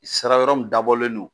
Sira wɛrɛ mun dabɔlen no